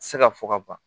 Se ka fɔ ka ban